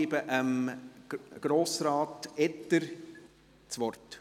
Ich gebe Grossrat Etter das Wort.